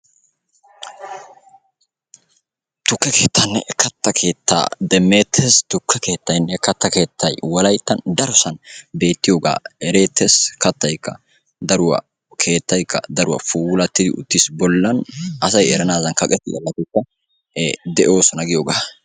Tukke keettaanne katta keettaa demmeettees. Tukke keettaynne katta keettay wolayttan darosan beettiyogaa ereettees. Kattaykka daruwa, keettaykka daruwa puulattidi uttiis. Bollan asay eranaadan kaqetta worqqataykka ee de'oosona giyogaa.